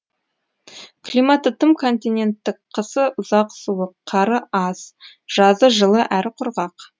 климаты тым континенттік қысы ұзақ суық қары аз жазы жылы әрі құрғақ